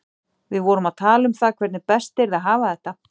Við vorum að tala um það hvernig best yrði að hafa þetta.